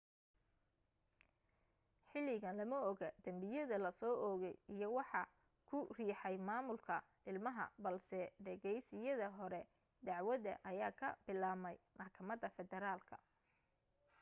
xilligan lama oga dembiyada la soo oogay iyo waxa ku riixay maamulka ilmaha balse dhegaysiyada hore dacwada ayaa ka bilaabmay maxkamada federaalka